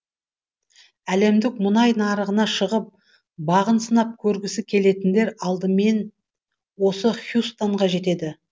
әлемдік мұнай нарығына шығып бағын сынап көргісі келетіндер алдымен осы хьюстонға жетеді